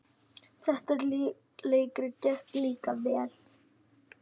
Það leikrit gekk líka vel.